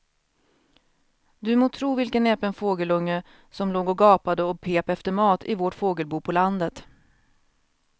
Du må tro vilken näpen fågelunge som låg och gapade och pep efter mat i vårt fågelbo på landet.